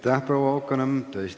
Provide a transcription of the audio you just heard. Aitäh, proua Haukanõmm!